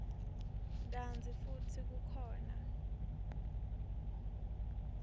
kantsi futsi kukhona